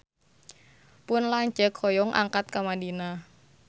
Pun lanceuk hoyong angkat ka Madinah